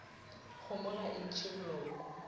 kgomo ga e ntšhe boloko